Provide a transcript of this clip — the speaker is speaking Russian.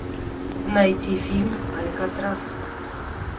найти фильм алькатрас